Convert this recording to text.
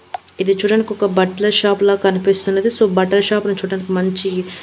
ఇది చూడ్డానికి ఒక బట్టల షాపులా కనిపిస్తున్నది సో బట్టల షాపును చూడటానికి మంచి--